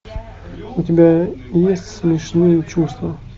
у тебя есть смешные чувства